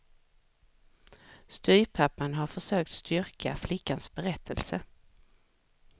Styvpappan har försökt styrka flickans berättelse.